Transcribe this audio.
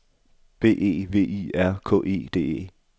B E V I R K E D E